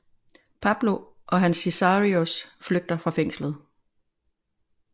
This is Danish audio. Pablo og hans sicarios flygter fra fængslet